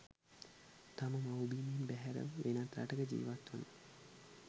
තම මවුබිමෙන් බැහැරව වෙනත් රටක ජීවත්වන